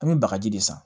An bɛ bagaji de san